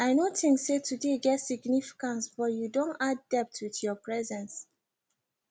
i no think say today get significance but you don add depth with your presence